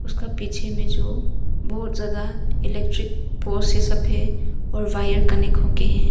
उसका पीछे में जो बहुत ज्यादा इलेक्ट्रिक पोल सफेद और वायर कनेक हो के हैं।